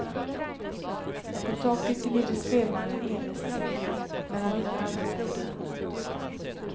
På taket gnider spelmannen envist sin fiol, men han hittar aldrig melodin.